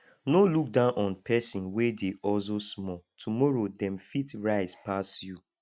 no look down on persin wey dey hustle small tomorrow dem fit rise pass you